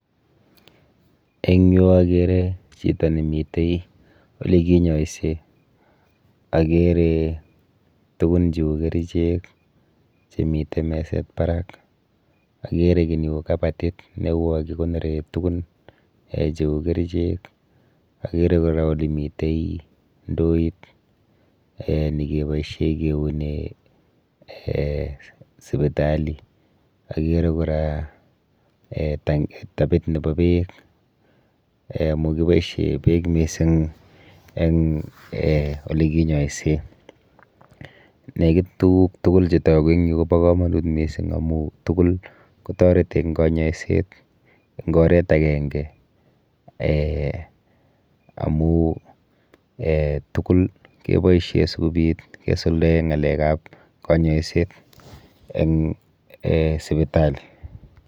Eng yu akere chito nemite olekinyoise akere tukun cheu kerichek chemite meset barak, akere kiy neu kabatit ne u yo kikonore tukun um cheu kerichek, akere kora olemitei ndoit um nikeboishe keune[um] sipitali. Akere kora[um] tapit nepo beek amu kiboishe beek mising eng um olekinyoise. Nekit tuguk tukul chetoku eng yu kopo komonut mising amu tukul kotoreti eng kanyoiset eng oret akenke um amu um tukul kepoishe sikobit kesuldae ng'alekap kanyoiset eng sipitali.